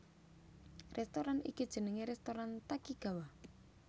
Rèstoran iki jenengé rèstoran Takigawa